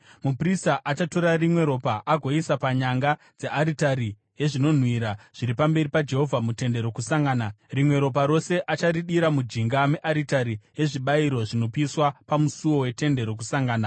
Muprista achatora rimwe ropa agoisa panyanga dzearitari yezvinonhuhwira zviri pamberi paJehovha muTende Rokusangana. Rimwe ropa rose acharidira mujinga mearitari yezvibayiro zvinopiswa pamusuo weTende Rokusangana.